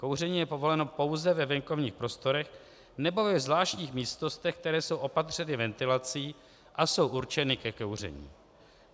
Kouření je povoleno pouze ve venkovních prostorách nebo ve zvláštních místnostech, které jsou opatřeny ventilací a jsou určeny ke kouření.